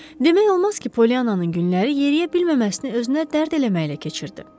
Demək olmaz ki, Poliannanın günləri yeriyə bilməməsini özünə dərd eləməklə keçirdi.